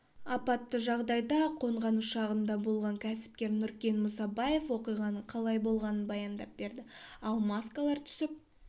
апатты жағдайда қонған ұшағында болған кәсіпкер нұркен мұсабаев оқиғаның қалай болғанын баяндап берді ал маскалар түсіп